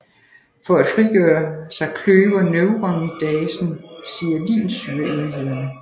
For at frigøre sig kløver neuramidasen sialinsyreenhederne